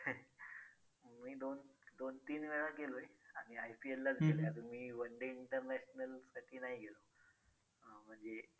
मी दोन दोन तीन वेळा गेलोय आणि IPL लाच गेलोय. अजून मी oneday international साठी नाही गेलो. हां म्हणजे